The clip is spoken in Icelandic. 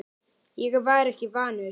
Ég var ekki vanur því.